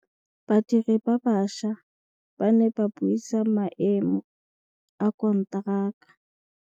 Badiri ba baša ba ne ba buisa maêmô a konteraka.